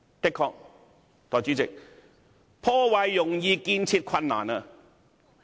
"的確，代理主席，破壞容易，建設困難。